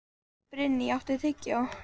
Brynný, áttu tyggjó?